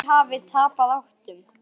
Þeir hafi tapað áttum.